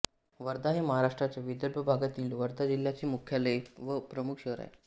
वर्धा हे महाराष्ट्राच्या विदर्भ भागातील वर्धा जिल्ह्याचे मुख्यालय व प्रमुख शहर आहे